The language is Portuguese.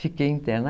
Fiquei interna.